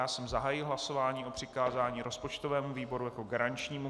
Já jsem zahájil hlasování o přikázání rozpočtovému výboru jako garančnímu.